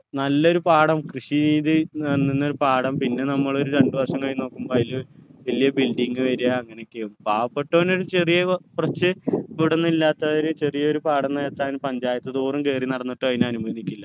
നല്ലൊരു പാടം കൃഷി ചെയ്‌ത്‌ നിന്നൊരു പാടം പിന്നെ നമ്മൾ രണ്ട് വർഷം കഴിഞ്ഞ് നോക്കുമ്പോ അയില് വല്ല്യ building വരുക അങ്ങനെയൊക്കെയാകും പാവപ്പെട്ടവന് ഒരു ചെറിയ കുറച്ച് വീടൊന്നും ഇല്ലാത്തവര് ചെറിയ ഒരു പാടം നികത്താൻ panchayat തോറും കേറി നടന്നിട്ട് അതിന് അനുവദിക്കില്ല